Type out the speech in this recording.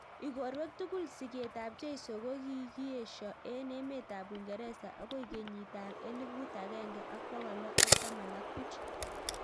Igorwek tugul sigeet ap jeiso ko kikieshoo eng emeet ap uingeresa agoi kenyit ap eleput agenge ak pokol loo ak taman ak puch